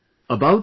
yes sir